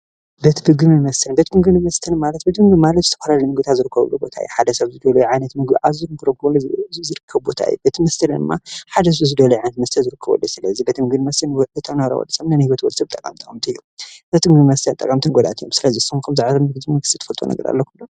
ቤት ምግቢን መስተን፦ ቤት ምግቢን መስተን ማለት ቤት ምግቢ ማለት ዝተፈላለዩ ምግቢታት ዝርከበሉ ቦታ እዩ። ሓደ ሰብ ዝደልዮ ዓይነት ምግቢን አዚዙ ክረክብ ዝክእለሉ ቦታ እዩ። ቤት መስተ ድማ ሓደ ሰብ ዝደለዮ ዓይነት መስተ አዚዙ ክረክበሉ ዝክእል ቦታ እዮ። ስለዚ ቤት ምግቢን መስተን ኩሉ ዓይነት ምግቢን መስተን ዝርከበሉ ቦታ እዩ። ስለዚ ቤ ምግቢን መስተን ጠቀምትን ጎዳእትን እዮም። ስለዚ ንስኩም ከ ከምዚ ዓይነት ቤት ምግቢን መስተን ትፈልጥዎ ነገር አለኩም ዶ ?